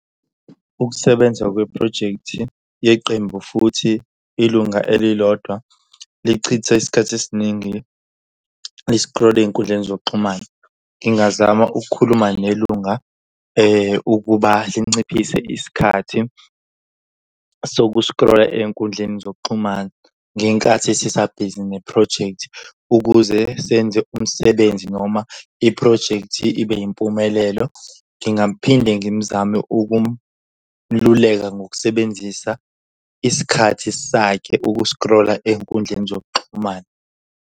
Ukusebenza kweprojekthi yeqembu futhi ilunga elilodwa lichithe isikhathi esiningi liskrola ey'nkundleni zokuxhumana. Ngingazama ukukhuluma nelunga ukuba linciphise isikhathi sokuskrola ey'nkundleni zokuxhumana ngenkathi sisabhizi nephrojekthi. Ukuze senze umsebenzi noma iphrojekthi ibe yimpumelelo ngingaphinde ngimzame ukumluleka ngokusebenzisa isikhathi sakhe ukuskrola ey'nkundleni zokuxhumana.